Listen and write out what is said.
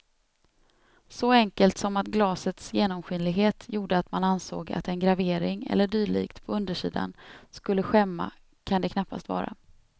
Så enkelt som att glasets genomskinlighet gjorde att man ansåg att en gravering eller dylikt på undersidan skulle skämma kan det knappast vara.